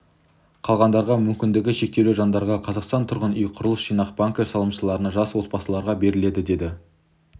қалғандарға мүмкіндігі шектеулі жандарға қазақстан тұрғын үй құрылыс жинақ банкі салымшыларына жас отбасыларға беріледі деді